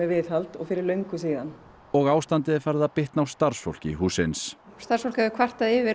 viðhald fyrir löngu síðan og ástandið er farið að bitna á starfsfólki hússins starfsfólk hefur kvartað yfir